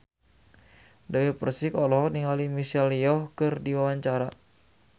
Dewi Persik olohok ningali Michelle Yeoh keur diwawancara